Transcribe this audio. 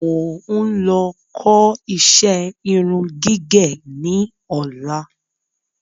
Mo ń lọ kó iṣẹ́ irun gígẹ̀ ní ọ̀la